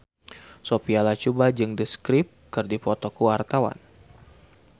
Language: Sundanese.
Sophia Latjuba jeung The Script keur dipoto ku wartawan